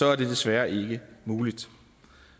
er det desværre ikke muligt